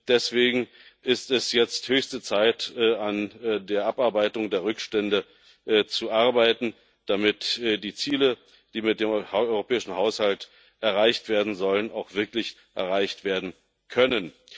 Deswegen ist es jetzt höchste Zeit, an der Abarbeitung der Rückstände zu arbeiten, damit die Ziele, die mit dem europäischen Haushalt erreicht werden sollen, auch wirklich erreicht werden können.